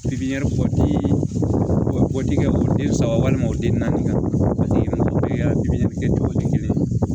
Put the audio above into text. pipɲɛri bɔ ti o dikɛ o den saba walima o den naani paseke musoya pipiniyɛri kɛ cogo tɛ kelen ye